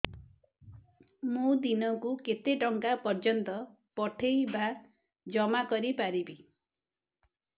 ମୁ ଦିନକୁ କେତେ ଟଙ୍କା ପର୍ଯ୍ୟନ୍ତ ପଠେଇ ବା ଜମା କରି ପାରିବି